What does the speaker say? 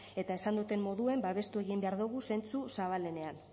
eta esan dudan moduen babestu egin behar dogu zentzu zabalenean